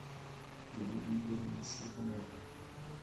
елене игоревне щербиной